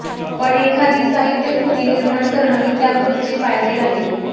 पण एखादी साहित्यकृती निर्माण करणं ही त्यापुढची पायरी आहे